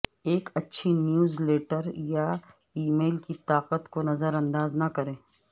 ایک اچھی newsletter یا ای میل کی طاقت کو نظر انداز نہ کریں